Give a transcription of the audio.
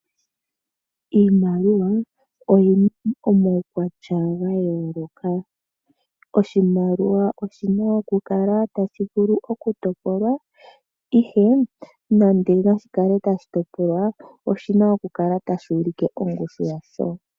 Iimaliwa oyina omaukwatya gayooloka. Oshimaliwa oshina okukala tashi vulu oku topolwa. Nande nashikale tashitoplwa oshina oku kala tashi ulike ongushu yasho.